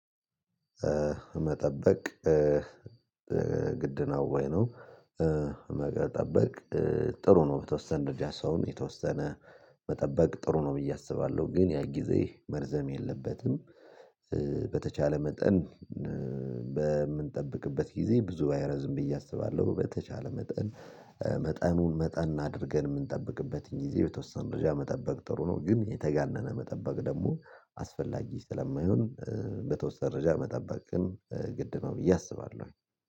መጠበቅ ግድ ነው ወይ ነው? መጠበቅ ጥሩ ነው በተወሰነ ደረጃ ሰውን የተወሰነ መጠበቅ ጥሩ ነው ብዬ አስባለሁ ግን ያ ጊዜ መርዘም የለበትም። በተቻለ መጠን በምንጠብቅበት ጊዜ ብዙ ባይረዝም ብዬ አስባለሁ። በተቻለ መጠን መጠኑን መጠን አድርገን የምንጠብቅበት ጊዜ የተወሰነ ደረጃ ጥሩ ነው ግን የተጋነነ መጠበቅ ደግሞ አስፈላጊ ስለማይሆን። በተወሰነ መጠበቅ ግድ ነው ብዬ አስባለሁ